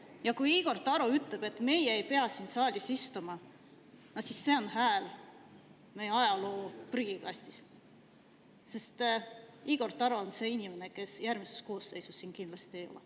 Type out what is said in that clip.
Ja kui Igor Taro ütleb, et meie ei pea siin saalis istuma, siis see on hääl ajaloo prügikastist, sest Igor Taro on see inimene, kes järgmises koosseisus siin kindlasti ei ole.